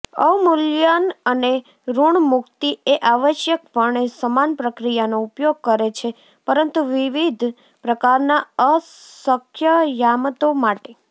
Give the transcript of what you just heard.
અવમૂલ્યન અને ઋણમુક્તિ એ આવશ્યકપણે સમાન પ્રક્રિયાનો ઉપયોગ કરે છે પરંતુ વિવિધ પ્રકારના અસ્કયામતો માટે